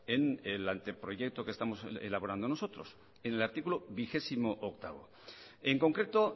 en el anteproyecto de ley que estamos elaborando nosotros en el artículo veintiocho en concreto